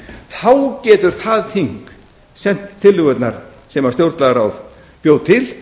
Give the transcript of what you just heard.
þá getur það þing sent tillögurnar sem stjórnlagaráð bjó til